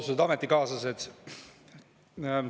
Austatud ametikaaslased!